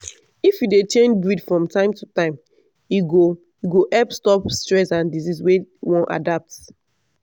if you dey change breed from time to time e go go help stop stress and disease wey wan adapt.